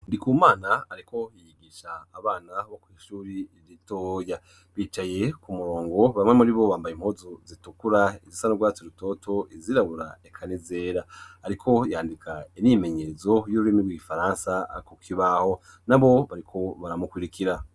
Ndikumana ariko yiyigisha abana bo kw'ishuri, irito ya bicaye ku murongo bamwe muri bo bambaye impozu zitukura izisanurgatse rutoto izirabura ekanizera ariko yandika inimenyezo y'uburimi rw'igifaransa akukibaho na bo bariko baramukurikira.